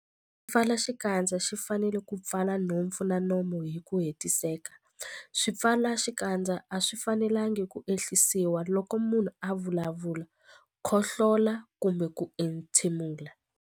Xipfalaxikandza xi fanele ku pfala nhompfu na nomo hi ku hetiseka. Swipfalaxikandza a swi fanelanga ku ehlisiwa loko munhu a vulavula, khohlola kumbe ku entshemula.